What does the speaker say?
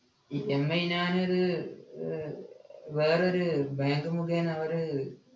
EMI ഞാനത് ഏർ വേറൊര് bank മുഖേന അവര്